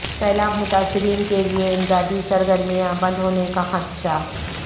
سیلاب متاثرین کے لیے امدادی سرگرمیاں بند ہونے کا خدشہ